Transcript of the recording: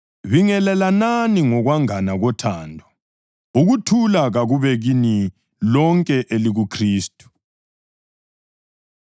Bingelelanani ngokwangana kothando. Ukuthula kakube kini lonke elikuKhristu.